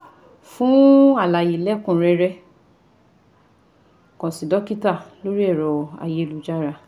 Fún àlàyé lẹ́kùn-un rẹ́rẹ́ kàn sí dọ́kítà lórí ẹ̀rọ ayélujára